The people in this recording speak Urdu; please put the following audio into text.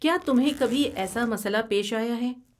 کیا تمہیں کبھی ایسا مسئلہ پیش آیا ہے؟